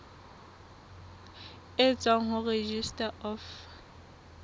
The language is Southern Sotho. e tswang ho registrar of